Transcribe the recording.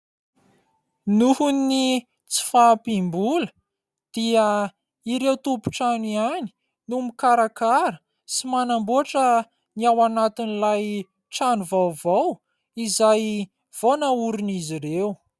Noho ny tsy fahampiam-bola dia ireo tompon-trano ihany no mikarakara sy manamboatra ny ao anatin'ilay trano vaovao izay vao naorin'izy ireo.